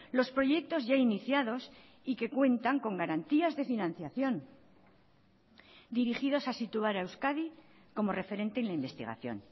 los proyectos ya iniciados y que cuentan con garantías de financiación dirigidos a situar a euskadi como referente en la investigación